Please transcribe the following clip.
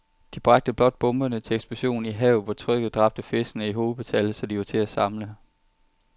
De bragte blot bomberne til eksplosion i havet, hvor trykket dræbte fiskene i hobetal, så de var til at samle